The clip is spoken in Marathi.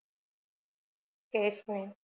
cash ने